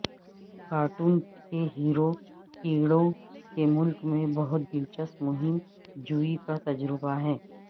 cartoon کے hero کیڑوں کے ملک میں بہت دلچسپ مہم جوئی کا تجربہ ہے